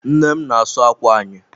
Nne m n'asu ákwà anyị.